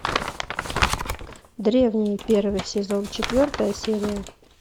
древние первый сезон четвертая серия